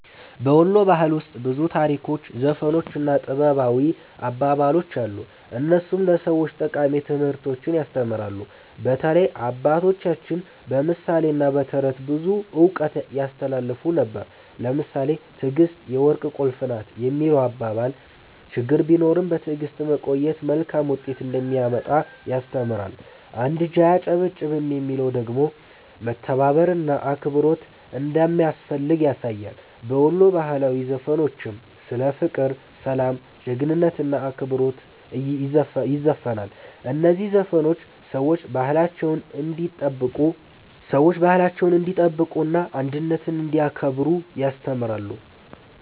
በ ወሎ ባህል ውስጥ ብዙ ታሪኮች፣ ዘፈኖች እና ጥበባዊ አባባሎች አሉ፣ እነሱም ለሰዎች ጠቃሚ ትምህርቶችን ያስተምራሉ። በተለይ አባቶቻችን በምሳሌ እና በተረት ብዙ እውቀት ያስተላልፉ ነበር። ለምሳሌ “ትዕግስት የወርቅ ቁልፍ ናት” የሚለው አባባል ችግር ቢኖርም በትዕግስት መቆየት መልካም ውጤት እንደሚያመጣ ያስተምራል። “አንድ እጅ አያጨበጭብም” የሚለው ደግሞ መተባበር እና አብሮነት እንዳስፈላጊ ያሳያል። በወሎ ባህላዊ ዘፈኖችም ስለ ፍቅር፣ ሰላም፣ ጀግንነት እና አክብሮት ይዘፈናል። እነዚህ ዘፈኖች ሰዎች ባህላቸውን እንዲጠብቁ እና አንድነትን እንዲያከብሩ ያስተምራሉ።